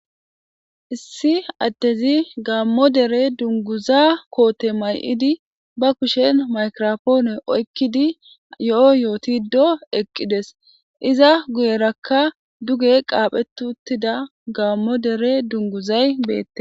Issi addezi gaammo dere dungguzaa koote may7idi ba kushen maykiraapoone oykkidi yo7o yootiddo eqqides. Iza guyerakka duge qaaphetti uttida gaammo dere dungguzay beete.